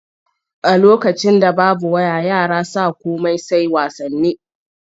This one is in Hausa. A lokacin da babu waya yara sa komai sai wasanni.